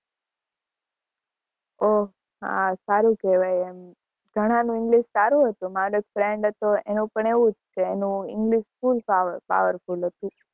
હા સારું કેવાય એમ ઘણાં નું english સારું હતું મારો એક friend હતો full Power powerful હતું.